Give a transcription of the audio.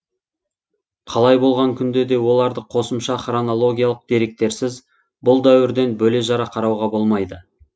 қалай болған күнде де оларды қосымша хронологиялық деректерсіз бұл дәуірден бөле жара қарауға болмайды